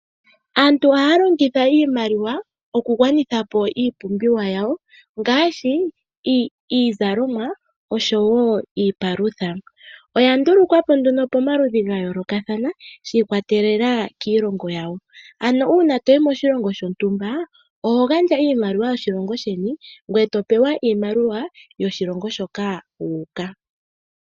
Aantu ohaya longitha iimaliwa okugwanitha po iipumbiwa yawo ngaashi iizalomwa oshowo iipalutha. Oya ndulukwa po nduno pamaludhi ga yoolokathana shi ikwatelela kiilongo yawo. Uuna to yi moshilongo shontumba oho handja iimaliwa yoshilongo sheni, ngoye to pewa iimaliwa yoshilongo moka wu uka.